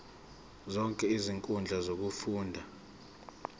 zonke izinkundla zokufunda